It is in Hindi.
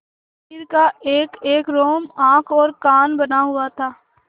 शरीर का एकएक रोम आँख और कान बना हुआ था